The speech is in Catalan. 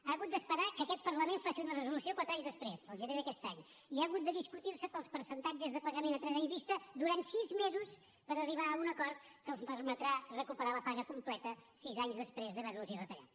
ha hagut d’esperar que aquest parlament faci una resolució quatre anys desprès el gener d’aquest any i ha hagut de discutir se pels percentatges de pagament a tres anys vista durant sis mesos per arribar a un acord que els permetrà recuperar la paga completa sis anys després d’haver los la retallat